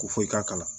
Ko fɔ i k'a kalan